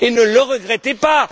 Et ne le regrettez pas!